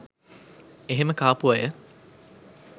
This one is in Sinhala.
එහෙම කාපු අය